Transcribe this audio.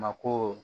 Mako